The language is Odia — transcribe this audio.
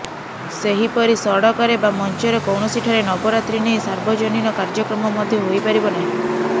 ସେହିପରି ସଡ଼କରେ ବା ମଞ୍ଚରେ କୌଣସିଠାରେ ନବରାତ୍ରୀ ନେଇ ସାର୍ବଜନୀନ କାର୍ଯ୍ୟକ୍ରମ ମଧ୍ୟ ହୋଇପାରିବ ନାହିଁ